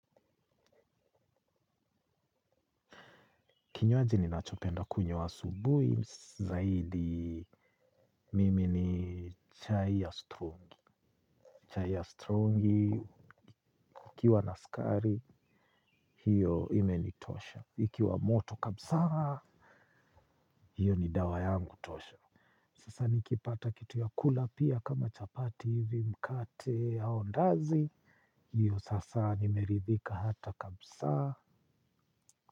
Kinywaji ninachopenda kunywa asubui, zaidi mimi ni chai ya strungi. Chai ya strungi, kukiwa na sukari, hiyo imenitosha. Ikiwa moto kabisa, hiyo ni dawa yangu tosha. Sasa nikipata kitu ya kula pia kama chapati hivi mkate ya andazi. Hiyo sasa nimeridhika hata kabisa.